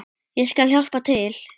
Ég skal hjálpa til.